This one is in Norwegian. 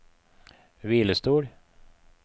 hvilestol